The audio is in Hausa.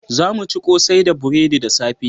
Za mu ci kosai da buredi da safe